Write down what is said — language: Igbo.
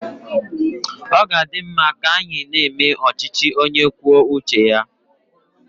Ọ ga-adi mma ka anyị na-eme ọchịchị onye kwuo uche ya.